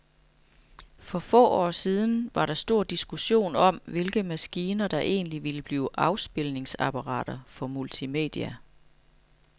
For få år siden var der stor diskussion om, hvilke maskiner, der egentlig ville blive afspilningsapparater for multimedia.